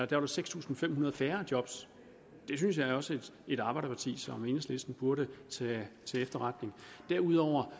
der seks tusind fem hundrede færre job det synes jeg også at et arbejderparti som enhedslisten burde tage til efterretning derudover